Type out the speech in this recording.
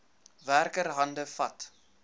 werker hande vat